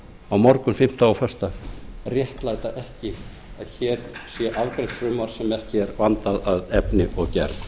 á morgun fimmtudag og föstudag réttlæta ekki að hér sé afgreitt frumvarp sem ekki er vandað að efni og